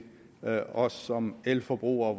os som elforbrugere